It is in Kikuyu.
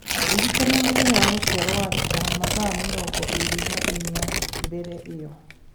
ndĩrikania mũthenya wa gũciarũo wa Rita mathaa mĩrongo ĩĩrĩ na inya mbere ĩyo